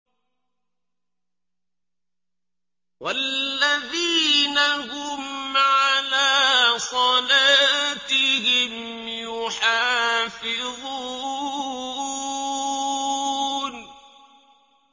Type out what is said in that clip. وَالَّذِينَ هُمْ عَلَىٰ صَلَاتِهِمْ يُحَافِظُونَ